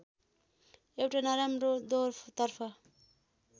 एउट नराम्रो दौरतर्फ